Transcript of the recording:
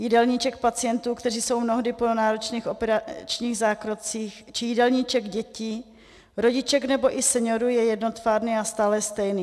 Jídelníček pacientů, kteří jsou mnohdy po náročných operačních zákrocích, či jídelníček dětí, rodiček nebo i seniorů je jednotvárný a stále stejný.